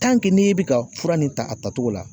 n'e be ka fura nin ta a tatogo la